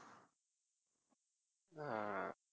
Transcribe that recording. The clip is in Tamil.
ஆஹ்